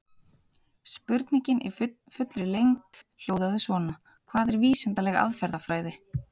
Spurningin í fullri lengd hljóðaði svona: Hvað er vísindaleg aðferðafræði?